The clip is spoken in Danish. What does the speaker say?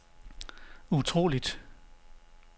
utroligt